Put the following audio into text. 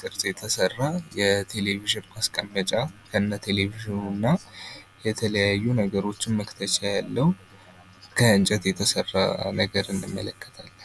ቅርፅ የተሰራ የቴሌቪዥን ማስቀመጫ ከነቴለቪዥኑ እና የተለያዩ ነገሮች መክተቻ ያለው ከእንጨት የተሰራ ነገር እንመለከታለን